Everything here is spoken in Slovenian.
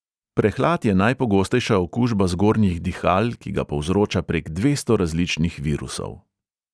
Prehlad je najpogostejša okužba zgornjih dihal, ki ga povzroča prek dvesto različnih virusov.